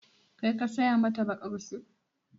Kai ka saya mata baƙar sut?